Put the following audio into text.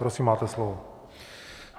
Prosím, máte slovo.